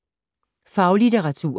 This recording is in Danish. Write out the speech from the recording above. Faglitteratur